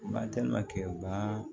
Ba telima kɛ ba